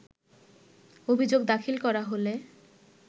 অভিযোগ দাখিল করা হলে